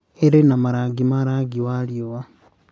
irĩ na marangi ma rangi wa riũa,